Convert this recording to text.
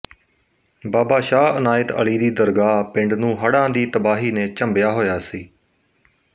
ਬਾਬਾ ਸ਼ਾਹ ਅਨਾਇਤ ਅਲੀ ਦੀ ਦਰਗਾਹ ਪਿੰਡ ਨੂੰ ਹੜ੍ਹਾਂ ਦੀ ਤਬਾਹੀ ਨੇ ਝੰਬਿਆ ਹੋਇਆ ਸੀ